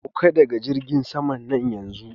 Sauka daga jirgin saman nan yanzu!